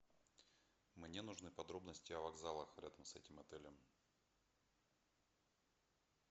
мне нужны подробности о вокзалах рядом с этим отелем